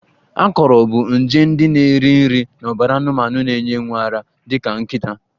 Akọrọ bụ nje ndị na-eri nri n'ọbara anụmanụ na-enye nwa ara dị ka nkịta